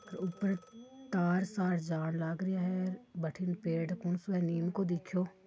ऊपर तार सार जान लागरया है बठीने पेड़ उन कुनसो नीम को देखियो--